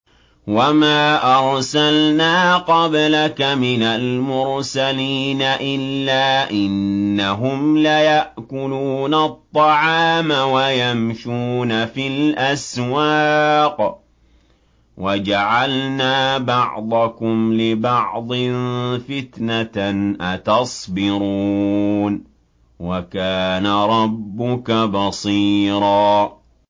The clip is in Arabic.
وَمَا أَرْسَلْنَا قَبْلَكَ مِنَ الْمُرْسَلِينَ إِلَّا إِنَّهُمْ لَيَأْكُلُونَ الطَّعَامَ وَيَمْشُونَ فِي الْأَسْوَاقِ ۗ وَجَعَلْنَا بَعْضَكُمْ لِبَعْضٍ فِتْنَةً أَتَصْبِرُونَ ۗ وَكَانَ رَبُّكَ بَصِيرًا